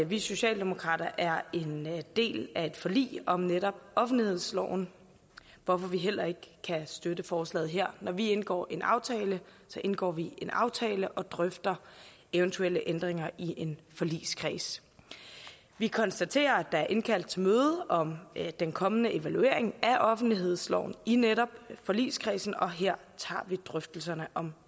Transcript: vi socialdemokrater er en del af et forlig om netop offentlighedsloven hvorfor vi heller ikke kan støtte forslaget her når vi indgår en aftale indgår vi en aftale og drøfter eventuelle ændringer i en forligskreds vi konstaterer at der er indkaldt til møde om den kommende evaluering af offentlighedsloven i netop forligskredsen og her tager vi drøftelserne om